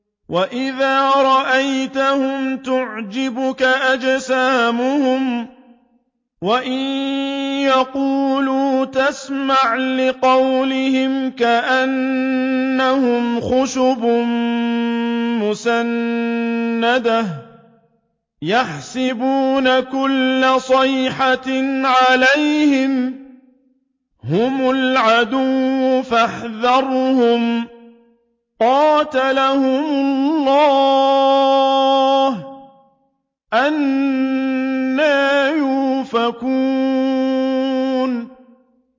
۞ وَإِذَا رَأَيْتَهُمْ تُعْجِبُكَ أَجْسَامُهُمْ ۖ وَإِن يَقُولُوا تَسْمَعْ لِقَوْلِهِمْ ۖ كَأَنَّهُمْ خُشُبٌ مُّسَنَّدَةٌ ۖ يَحْسَبُونَ كُلَّ صَيْحَةٍ عَلَيْهِمْ ۚ هُمُ الْعَدُوُّ فَاحْذَرْهُمْ ۚ قَاتَلَهُمُ اللَّهُ ۖ أَنَّىٰ يُؤْفَكُونَ